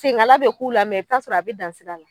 Senkala bɛ k'u la mɛ i bɛ t'a sɔrɔ a bɛ dan sira la.